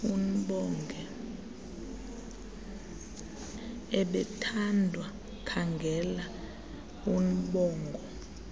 ebethandwa khangela urnbongo